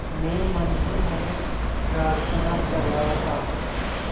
मैं मन ही मन प्रार्थना कर रहा था